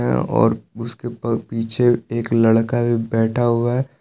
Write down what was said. और उसके प पीछे एक लड़का भी बैठा हुआ है।